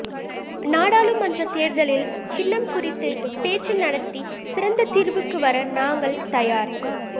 நாடாளுமன்றத் தேர்தலில் சின்னம் குறித்து பேச்சு நடத்தி சிறந்த தீர்வுக்குவர நாங்கள் தயார்